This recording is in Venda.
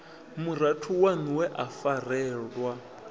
murathu waṋu we a farelwa